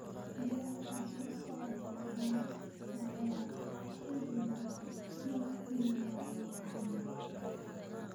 ciyaarta soo socota ee sawaaxiliga mufti wala bin wala